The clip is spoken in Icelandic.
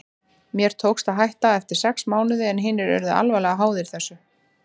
Mér tókst að hætta eftir sex mánuði en hinir urðu alvarlega háðir þessu.